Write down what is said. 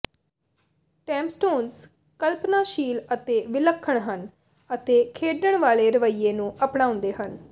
tombstones ਕਲਪਨਾਸ਼ੀਲ ਅਤੇ ਵਿਲੱਖਣ ਹਨ ਅਤੇ ਖੇਡਣ ਵਾਲੇ ਰਵੱਈਏ ਨੂੰ ਅਪਣਾਉਂਦੇ ਹਨ